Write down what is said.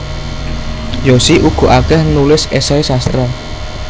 Yosi uga akeh nulis esei sastra